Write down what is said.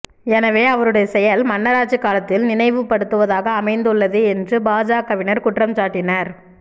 எனவே அவருடைய செயல் மன்னராட்சி காலத்தில் நினைவுபடுத்துவதாக அமைந்து உள்ளது என்று பாஜகவினர் குற்றம் சாட்டினார்